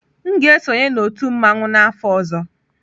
M ga-esonye na otu mmanwu n'afọ ọzọ.